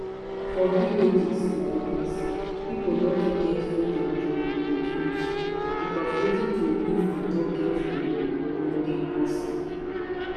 for villages laidis pipo no too get freedom to reproduce because wetin to use to no get belle don dey costly